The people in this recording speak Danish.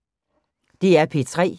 DR P3